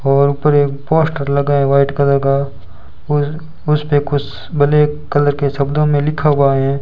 और ऊपर एक पोस्टर लगा है व्हाइट कलर का और उसपे कुछ ब्लैक कलर के शब्दों मे लिखा हुआ है।